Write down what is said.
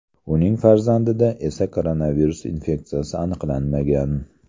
Uning farzandida esa koronavirus infeksiyasi aniqlanmagan.